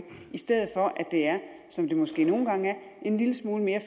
i stedet for at det er som det måske nogle gange er en lille smule mere